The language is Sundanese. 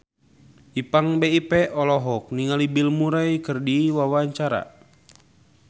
Ipank BIP olohok ningali Bill Murray keur diwawancara